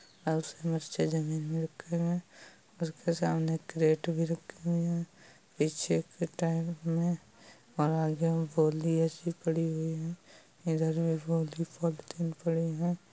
जमीन में रखे हुए हैं उसके सामने कैरट भी रखा हुआ है पीछे के टायर में और आगे में गोलिया सी पड़ी हुई हैं इधर पॉलिथीन पड़ी हैं।